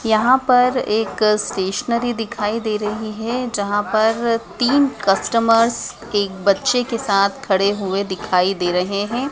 यहां पर एक स्टेशनरी दिखाई दे रही है जहां पर तीन कस्टमर्स एक बच्चे के साथ खड़े हुए दिखाई दे रहे हैं।